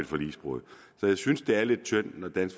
forligsbrud